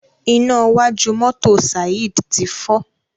iná wájú mọ́tò Saheed tí fọ.